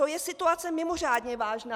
To je situace mimořádně vážná.